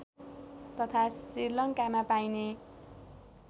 तथा श्रीलङ्कामा पाइने